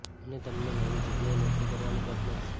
અને તમને નવી જ્ગ્યાએ નોકરી કરવાની તક મળશે